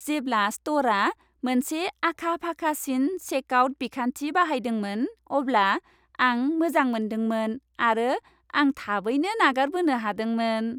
जेब्ला स्ट'रआ मोनसे आखा फाखासिन चेकआउट बिखान्थि बाहायदोंमोन, अब्ला आं मोजां मोनदोंमोन, आरो आं थाबैनो नागारबोनो हादोंमोन।